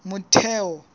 motheo